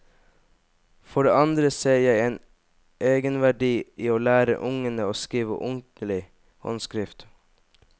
For det andre ser jeg en egenverdi i å lære ungene å skrive ordentlig håndskrift.